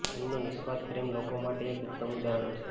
એમનો નિસ્વાર્થ પ્રેમ લોકો માટે એક ઉત્તમ ઉદાહરણ છે